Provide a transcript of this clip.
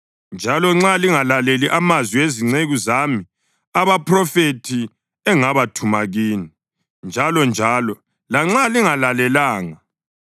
njalo nxa lingalaleli amazwi ezinceku zami abaphrofethi, engabathuma kini njalonjalo (lanxa lingalalelanga),